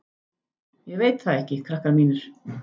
Ég veit það ekki, krakkar mínir.